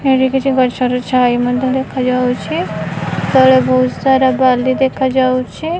ଏଇଠି କିଛି ଗଛର ଛାଇ ମଧ୍ୟ ଦେଖା ଯାଉଚି। ତଳେ ବୋହୁତ ସାରା ବାଲି ଦେଖା ଯାଉଛି।